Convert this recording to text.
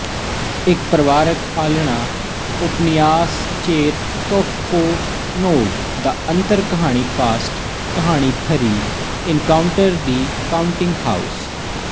ਇੱਕ ਪਰਿਵਾਰਕ ਆਲਣਾ ੳਪਨਿਆਸਚੇਰਤੌਫਕੋਨੋਵ ਦਾ ਅੰਤਕਹਾਣੀਫਾਸਟ ਕਹਾਣੀ three encounter the counting house